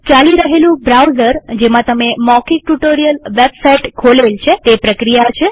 ચાલી રહેલું બ્રાઉઝર જેમાં તમે મૌખિક ટ્યુ્ટોરીઅલ વેબ સાઈટ ખોલેલ છે તે પ્રક્રિયા છે